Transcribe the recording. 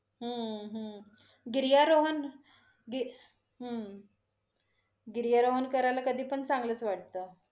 हम्म हम्म गिरियारोहन गी~ हम्म गिरीयारोहन करायला कधी पण चांगलच वाटत.